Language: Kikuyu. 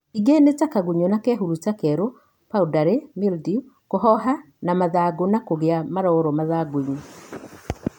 Ĩngĩ nĩ ta kagunyo na kehuruta kelũ, powdery, mildew kũhoha kwa mathangũ na kũgĩa maroro mathangũinĩ